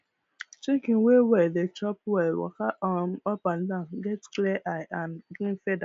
chicken way well dey chop well waka um up and down get clear eye and clean feat